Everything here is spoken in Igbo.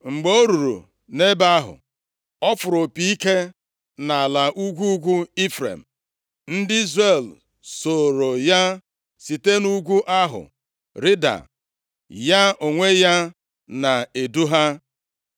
Mgbe o ruru nʼebe ahụ, ọ fụrụ opi ike nʼala ugwu ugwu Ifrem, ndị Izrel sooro ya site nʼugwu ahụ rịda, ya onwe ya na-edu ha.